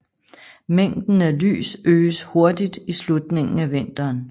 Mængden af lys øges hurtigt i slutningen af vinteren